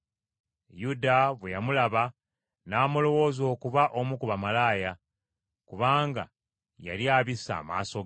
Yuda bwe yamulaba, n’amulowooza okuba omu ku bamalaaya, kubanga yali abisse amaaso ge.